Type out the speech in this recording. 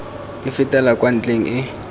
e fetela kwa ntlheng e